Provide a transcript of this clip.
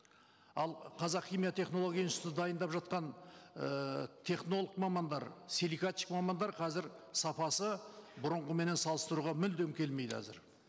ал қазақ химия технология институты дайындап жатқан ііі технолог мамандар силикатчик мамандар қазір сапасы бұрынғыменен салыстыруға мүлдем келмейді әзір